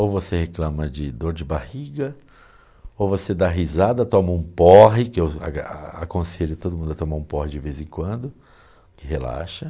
Ou você reclama de dor de barriga, ou você dá risada, toma um porre, que eu a aconselho todo mundo a tomar um porre de vez em quando, que relaxa.